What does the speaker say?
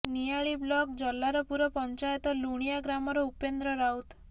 ନିଆଳି block Jallarpur panchayat Lunigaon ଗ୍ରାମର ଉପେନ୍ଦ୍ର ରାଉତ